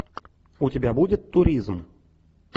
у тебя будет туризм